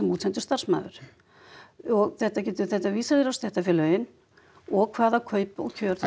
útsendur starfsmaður og þetta þetta vísar þér á stéttarfélögin og hvað kaup og kjör þú